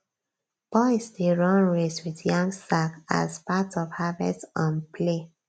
boys dey run race with yam sack as part of harvest um play